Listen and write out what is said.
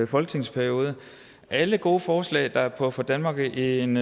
folketingsperiode alle gode forslag der puffer danmark i en